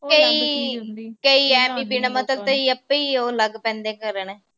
ਅਪੇ ਹੀ ਉਹ ਲੱਗ ਪੈਂਦੇ ਕਰਨ।